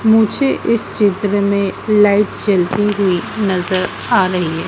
मुझे इस चित्र में लाइट जलती हुई नजर आ रही--